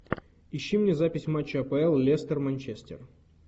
ищи мне запись матча апл лестер манчестер